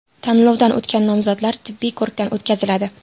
Tanlovdan o‘tgan nomzodlar tibbiy ko‘rikdan o‘tkaziladi.